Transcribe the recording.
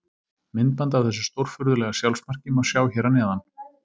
Myndband af þessu stórfurðulega sjálfsmarki má sjá hér fyrir neðan.